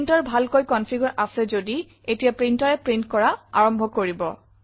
printer ভালকৈ কনফিগাৰে আছে যদি এতিয়া printerএ প্ৰিণ্ট কৰা আৰম্ভ কৰিব